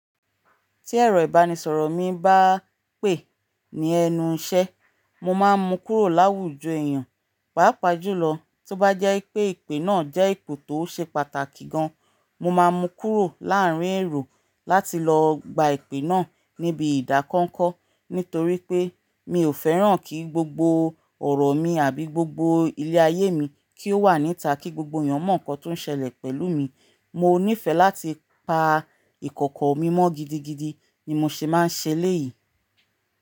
Tí ẹ̀rọ ìbánisọ̀rọ̀ mi bá pè ní ẹnu iṣẹ́, mo máa ń mu kúrò láwùjọ èèyàn, pàápàá jùlọ tó bá jẹ́ pé ìpè náà jẹ́ ìpè tó ṣe pàtàkì gan. Mo máa ń mu kúrò láàárín ẹ̀ro láti lọ gba ìpè náà níbi ìdákọ́ńkọ́. Nítorí pé mi ò fẹ́ràn kí gbogbo ọ̀rọ̀ mi àbí gbogbo ilé ayé mi kí ó wà níta kí gbogbo èèyàn mọ̀ nǹkan tó ń ṣẹlẹ̀ pẹ̀lú mi. Mo nífẹ̀ẹ́ láti pa ìkọ̀kọ̀ mi mọ́ gidigidi ni mo ṣe máa ń ṣe lẹ́yìn.